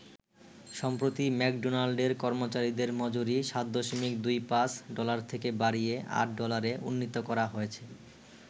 সম্প্রতি ম্যাকডোনাল্ডের কর্মচারিদের মজুরি ৭.২৫ ডলার থেকে বাড়িয়ে ৮ ডলারে উন্নীত করা হয়েছে।